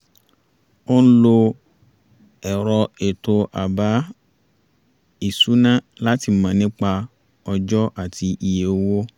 ó ń lo ẹ̀rọ ètò àbá-ìṣúná láti mọ̀ nípa ọjọ́ àti iye owó